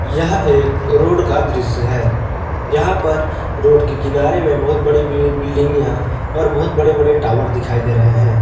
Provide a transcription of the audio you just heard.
यह एक रोड का दृश्य है यहां पर रोड के किनारे में बहुत बड़ी बड़ी बिल्डिंग या और बहुत बड़े बड़े टावर दिखाई दे रहे हैं।